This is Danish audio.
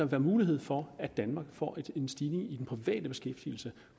være mulighed for at danmark får en stigning i den private beskæftigelse